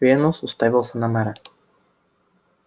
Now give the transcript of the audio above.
венус уставился на мэра